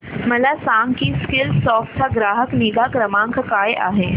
मला सांग की स्कीलसॉफ्ट चा ग्राहक निगा क्रमांक काय आहे